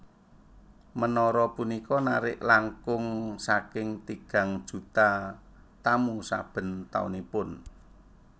Menara punika narik langkung saking tigang juta tamu saben taunipun